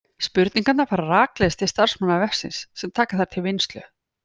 Spurningarnar fara rakleiðis til starfsmanna vefsins sem taka þær til vinnslu.